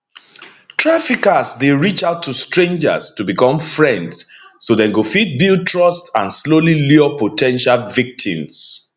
traffickers dey reach out to strangers to become friends so dem go fit build trust and slowly lure po ten tial victims